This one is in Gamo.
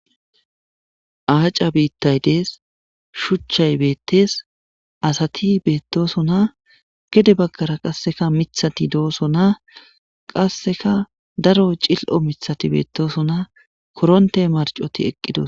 aaca biittay dees shuchchay beettes asati beettosona gede baggara qasseka mithati dooso na qasseka daro cil7o mithati beettoosona koronte marcoti eqqidos